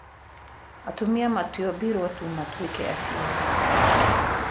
Atumia matiombirũo tu matuĩke aciari.